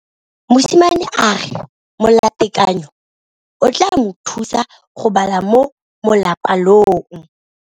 Mosimane a re molatekanyô o tla mo thusa go bala mo molapalong.